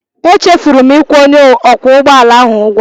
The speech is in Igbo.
Echefuru m ịkwụ onye ọkwọ ụgbọ ala ahụ ụgwọ.